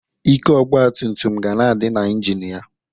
Ike ọgbatumtum ga na-adị n'injini ya.